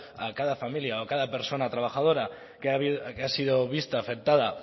a cada familia o a cada persona trabajadora